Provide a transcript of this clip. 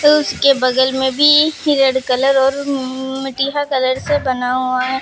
उसके बगल में भी रेड कलर और मअअ मटिया कलर से बना हुआ है।